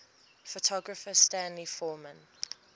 photographer stanley forman